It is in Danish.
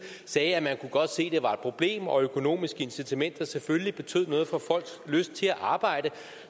sagde at man godt kunne se det var et problem og at økonomiske incitamenter selvfølgelig betød noget for folks lyst til at arbejde